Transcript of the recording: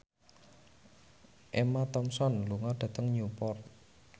Emma Thompson lunga dhateng Newport